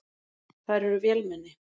Þær eru vélmenni.